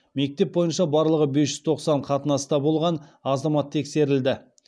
мектеп бойынша барлығы бес жүз тоқсан қатынаста болған азамат тексерілді